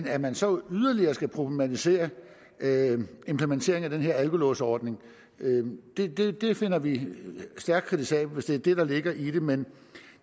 at man så yderligere skal problematisere implementeringen af den her alkolåsordning finder vi stærkt kritisabelt hvis det er det der ligger i den men